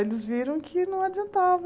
Eles viram que não adiantava.